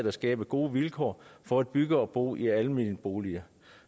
at skabe gode vilkår for at bygge og bo i almene boliger